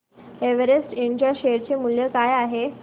Everest इंड च्या share चे मूल्य काय आहे